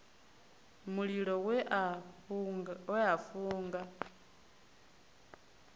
mulilo we a u funga